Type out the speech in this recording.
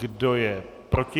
Kdo je proti?